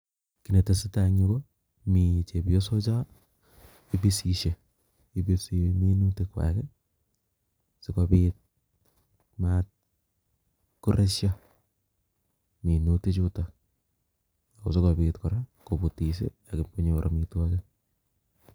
Kit netesetai eng' yu ko, mi chebiosocho ibisisei, ibisi minutik kwak ii sigobit mat koresio minuti chuto kosokobit kora kobutis ii akibkonyor amitwogik.